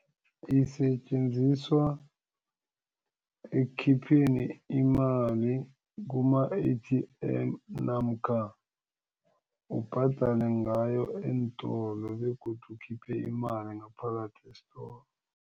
Isetjenziswa ekhipheni imali kuma-A_T_M namkha ubhadale ngayo eentolo begodu ukhiphe imali ngaphakathi esitolo.